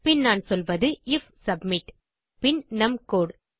பின் நான் சொல்வது IF submit பின் நம் கோடு